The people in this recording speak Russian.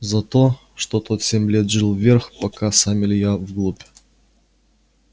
за то что тот семь лет жил вверх пока сам илья вглубь